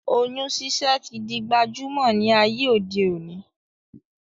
Oyún ṣiṣẹ́ tí di gbajúmọ̀ ní ayé òde òní